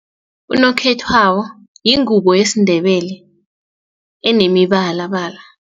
Unokhethwako yingubo yesiNdebele enemibalabala.